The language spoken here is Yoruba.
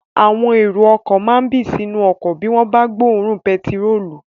Àwọn èrò ọkọ̀ kan máa n bì sínú ọkọ̀ bí wọ́n bá tí gbọ́ òórùn pẹtirólù